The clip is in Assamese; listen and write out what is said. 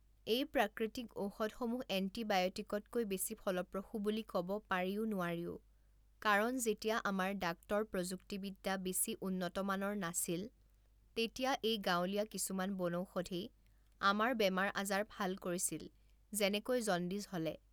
এই প্ৰাকৃতিক ঔষধসমূহ এণ্টিবায়টিকতকৈ বেছি ফলপ্ৰসু বুলি ক'ব পাৰিও নোৱাৰিও কাৰণ যেতিয়া আমাৰ ডাক্টৰ প্ৰযুক্তিবিদ্যা বেছি উন্নতমানৰ নাছিল তেতিয়া এই গাঁৱলীয়া কিছুমান বনৌষধেই আমাৰ বেমাৰ আজাৰ ভাল কৰিছিল যেনেকৈ জণ্ডিছ হ'লে